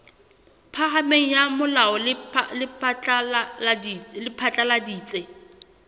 phahameng la molao le phatlaladitse